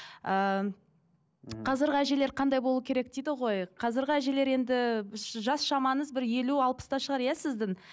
ыыы қазіргі әжелер қандай болуы керек дейді ғой қазіргі әжелер енді жас шамаңыз бір елу алпыста шығар иә сіздің